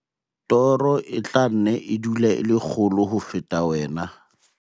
Toro e tla nne e dule e le kgolo ho feta wena.